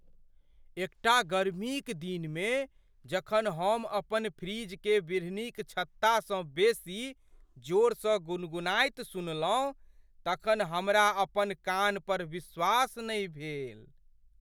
एकटा गर्मीक दिनमे जखन हम अपन फ्रिजकेँ बिढ़नीक छत्तासँ बेसी जोरसँ गुनगुनाइत सुनलहुँ तखन हमरा अपन कान पर विश्वास नहि भेल।